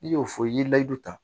I y'o fɔ i ye layidu ta